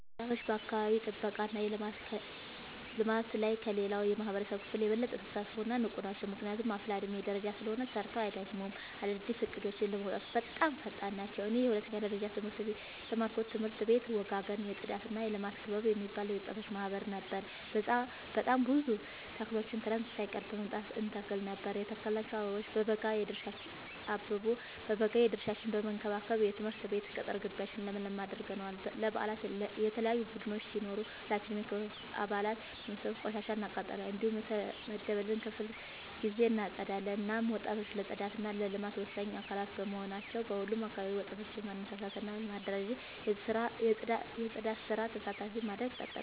ወጣቶች በአካባቢ ጥብቃ እና ልማት ላይ ከሌላው የማህበረሰብ ክፍል የበለጠ ተሳታፊ እና ንቁ ናቸው። ምክንያቱም አፋላ የዕድሜ ደረጃ ላይ ስለሆኑ ሰርተው አይደክሙም፤ አዳዲስ እቅዶችን ለማውጣትም በጣም ፈጣን ናቸው። እኔ የሁለተኛ ደረጃ ትምህርቴን የተማርኩበት ትምህርት ቤት ወጋገን የፅዳትና የልማት ክበብ የሚባል የወጣቶች ማህበር ነበር። በጣም ብዙ ተክሎችን ክረምት ሳይቀር በመምጣ እንተክል ነበር የተከልናቸው አበቦ በበጋ የድርሻችን በመከባከብ የትምህርት ቤት ቅጥር ጊቢያችን ለምለም አድርገነዋል። ለበአላት የተለያዩ ቡዳዮች ሲኖሩ ሁላችንም የክበቡ አባላት በመሰብሰብ ቆሻሻ እናቃጥላለን። እንዲሁም በየተመደበልን ክፍለ ጊዜ እናፀዳለን። እናም ወጣቶች ለፅዳት እና ለልማት ወሳኝ አካላት በመሆናቸው በሁሉም አካባቢ ወጣቶችን በማነሳሳት እና በማደራጀት የፅዳት ስራ ተሳታፊ ማድረግ ጠቃሚ ነው።